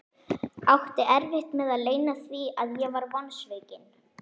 Átti erfitt með að leyna því að ég var vonsvikinn.